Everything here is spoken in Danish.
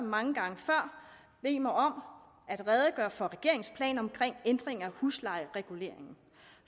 mange gange før bede mig om at redegøre for regeringens planer om ændringer af huslejereguleringen